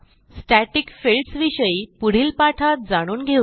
static fields विषयी पुढील पाठात जाणून घेऊ